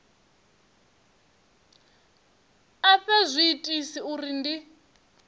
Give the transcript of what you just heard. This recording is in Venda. a fhe zwiitisi uri ndi